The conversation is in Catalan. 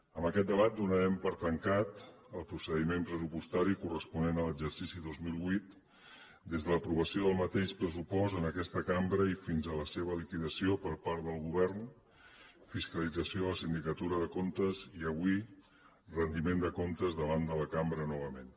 amb aquest debat donarem per tancat el procediment pressupostari corresponent a l’exercici dos mil vuit des de l’aprovació del mateix pressupost en aquesta cambra i fins a la seva liquidació per part del govern fiscalització de la sindicatura de comptes i avui rendiment de comptes davant de la cambra novament